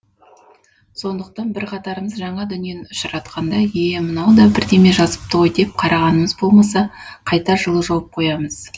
сондықтан бірқатарымыз жаңа дүниені ұшыратқанда е е мынау да бірдеме жазыпты ғой деп қарағанымыз болмаса қайта жылы жауап қоямыз